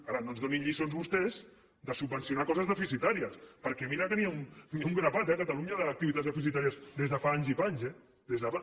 ara no ens donin lliçons vostès de subvencionar coses deficitàries perquè mira que n’hi ha un grapat a catalunya d’activitats deficitàries des de fa anys i panys eh des de fa